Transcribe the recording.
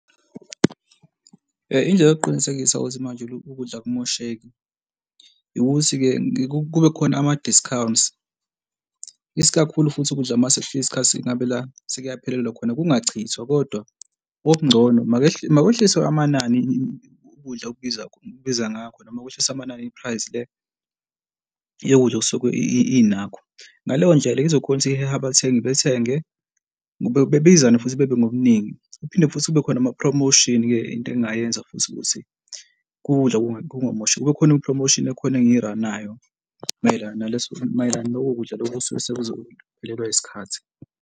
Indlela yokuqinisekisa ukuthi manje ukudla loku kudla akumosheki ukuthi-ke kube khona ama-discounts, isikakhulu futhi ukudla masikufika isikhathi ngabe la sekuyaphelelwa khona, kungachithwa kodwa okungcono makehliswe amanani ukudla okubiza okubiza ngakho noma kwehlisa amanani i-price le yokudla okusuke inakho. Ngaleyo ndlela izokhona ukuthi ihehe abathengi bethenge bebizane futhi bebe ngobuningi. Kuphinde futhi kube khona ama-promotion-ke into engingayenza futhi ukuthi ukudla kungamoshi kube khona i-promotion ekhona engiyiranayo mayelana naleso, mayelana naloko kudla loku osuke sekuzophelelwa yisikhathi.